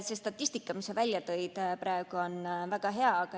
See statistika, mis sa praegu välja tõid, on väga hea.